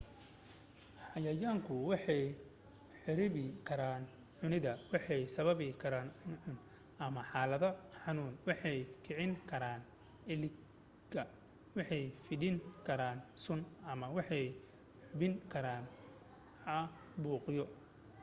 xayayaanku waxay kharibi karaan cunada waxay sababi karaan cuncun ama xaaladaha xunxun waxay kicin karaan eletgik waxay fidin karaan sun ama waxay gudbin karaan caabuqyo